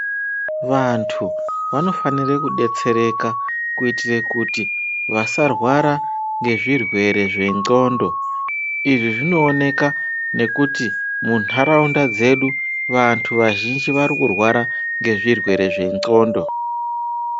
Vantu vanofanira kudetsereka kuitire kuti vasarwara ngezvirwere zvendxondo izvi zvinooneka nekuti munharaunda dzedu vantu vazhinji varikurwara ngezvirwere zvendxondo.